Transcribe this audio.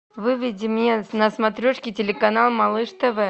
выведи мне на смотрешке телеканал малыш тв